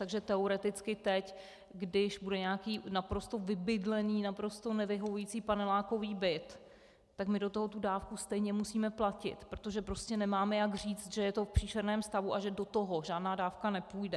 Takže teoreticky teď, když bude nějaký naprosto vybydlený, naprosto nevyhovující panelákový byt, tak my do toho tu dávku stejně musíme platit, protože prostě nemáme jak říct, že je to v příšerném stavu a že do toho žádná dávka nepůjde.